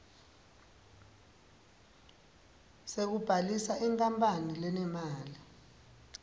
sekubhalisa inkapani lenemali